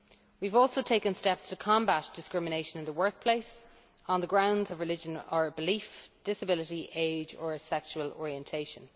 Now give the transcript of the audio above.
We have also taken steps to combat discrimination in the workplace on the grounds of religion or belief, disability, age or sexual orientation.